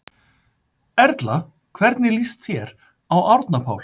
Erla: Hvernig líst þér á Árna Pál?